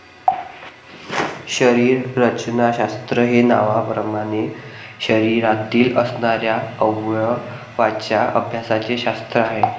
शरीररचनाशास्त्र हे नावाप्रमाणे शरीरातील असणारया अवयवांच्या अभ्यासाचे शास्त्र आहे.